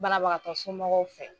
Barabagatɔ somɔgɔw fɛ.